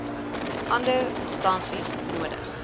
ander instansies nodig